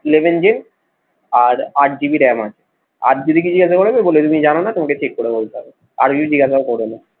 eleven আর আট GB ram আছে আর যদি কিছু জিজ্ঞাসা করে বলে দিবি যে জানা নেই তোমাকে check করে বলতে হবে, আর কিছু জিজ্ঞাসা ও করবে না।